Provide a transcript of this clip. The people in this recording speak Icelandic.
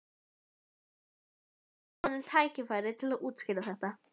Sveinbjörn fyrst, gefa honum tækifæri til að útskýra þetta.